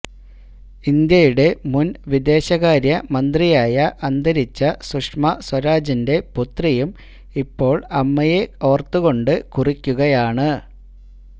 ഇന്ത്യയുടെ മുൻ വിദേശകാര്യമന്ത്രിയായ അന്തരിച്ച സുഷമ സ്വരാജിന്റെ പുത്രിയും ഇപ്പോൾ അമ്മയെ ഓർത്തുകൊണ്ട് കുറിക്കുകയാണ്